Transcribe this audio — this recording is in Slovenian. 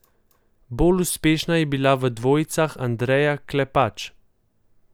Bolj uspešna je bila v dvojicah Andreja Klepač.